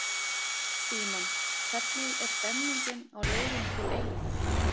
Símon: Hvernig er stemningin á leiðinni til eyja?